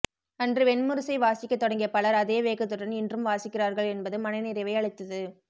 அன்று வெண்முரசை வாசிக்கத்தொடங்கிய பலர் அதே வேகத்துடன் இன்றும் வாசிக்கிறார்கள் என்பது மனநிறைவை அளித்தது